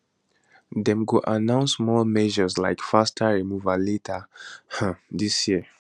dem go announce more measures like faster removals later um dis year